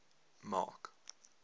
mark